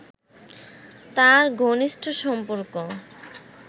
তাঁর ঘনিষ্ঠ সম্পর্ক